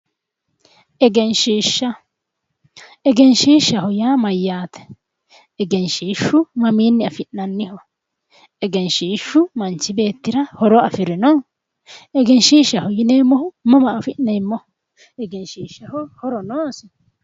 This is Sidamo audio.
Egenshiishsha egenshshiishshaho yaa mayyaate egenshshiishshu mamiinni afi'nanniho egenshshiishshu manchi beettira horo afirino egenshiishshaho yineemmohu mama afi'neemmoho egenshiishshaho horo noosi?